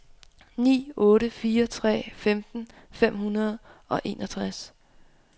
ni otte fire tre femten fem hundrede og enogtres